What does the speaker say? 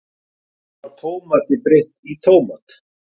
Þar var Tómati breytt í tómat.